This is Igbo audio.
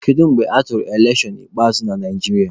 Kedu mgbe atụrụ elekshọn ikpeazụ na Naijiria?